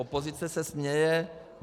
Opozice se směje.